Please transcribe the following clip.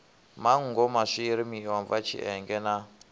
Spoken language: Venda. manngo maswiri miomva tshienge na